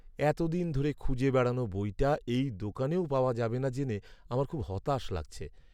এত দিন ধরে খুঁজে বেড়ানো বইটা এই দোকানেও পাওয়া যাবে না জেনে আমার খুব হতাশ লাগছে।